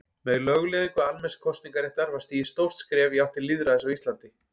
Með lögleiðingu almenns kosningaréttar var stigið stórt skref í átt til lýðræðis á Íslandi.